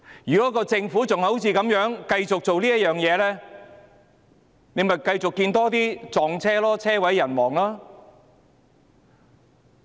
如果政府繼續這樣做，便會繼續看到更多的"撞車"事件，車毀人亡。